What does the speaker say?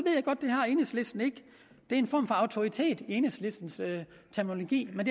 er en form for autoritet i enhedslistens terminologi men